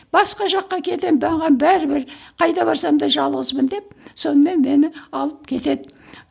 басқа жаққа кетемін маған бәрібір қайда барсам да жалғызбын деп сонымен мені алып кетеді